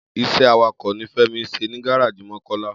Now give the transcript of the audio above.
Is̩é̩ awakò̩ ni Fé̩mi ń s̩e ní gáráàjì Mó̩kó̩lá